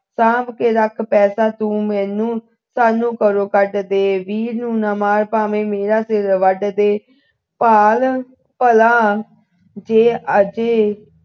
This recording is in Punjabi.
ਸਾਂਭ ਕੇ ਰੱਖ ਤੂੰ ਪੈਸਾ ਮੈਨੂੰ ਸਾਨੂੰ ਘਰੋਂ ਕੱਢ ਦੇ ਵੀਰ ਨੂੰ ਨਾ ਮਾਰ ਭਾਵੇ ਮੇਰਾ ਸਿਰ ਵੱਢ ਦੇ ਭਾਲ ਭਲਾ ਜੇ ਅਜੇ